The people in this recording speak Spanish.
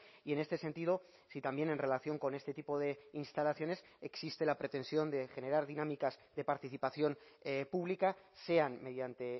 y en este sentido si también en relación con este tipo de instalaciones existe la pretensión de generar dinámicas de participación pública sean mediante